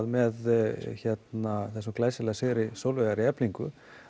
með þessum glæsilega sigri Sólveigar í Eflingu